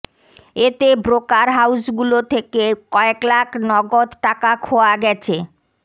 এতে ব্রোকার হাউজগুলো থেকে কয়েক লাখ নগদ টাকা খোয়া গেছে